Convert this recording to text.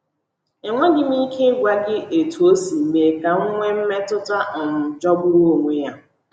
Enweghị m ike ịgwa gị etu o si mee ka m nwee mmetụta um jọgburu onwe ya.